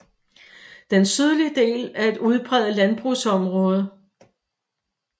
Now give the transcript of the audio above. Den sydlige del er et udpræget landbrugsområde